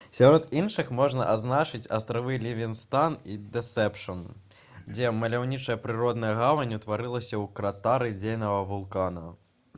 сярод іншых можна адзначыць астравы лівінгстан і дэсэпшн дзе маляўнічая прыродная гавань утварылася ў кратары дзейнага вулкана